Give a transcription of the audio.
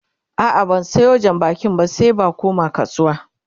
a'a ban Sayo jan bakin jiya ba sai ba koma kasuwa